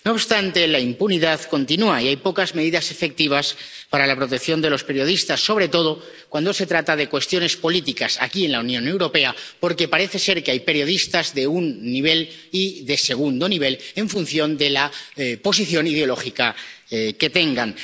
No obstante, la impunidad continúa y hay pocas medidas efectivas para la protección de los periodistas, sobre todo cuando se trata de cuestiones políticas, aquí en la Unión Europea, porque parece ser que hay periodistas de un nivel y otros de segundo nivel en función de la posición ideológica que tengan.